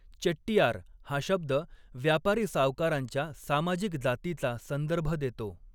चेट्टियार' हा शब्द व्यापारी सावकारांच्या सामाजिक जातीचा संदर्भ देतो.